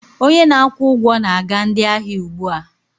Onye na-akwụ ụgwọ na-aga ndị ahịa ugbu a.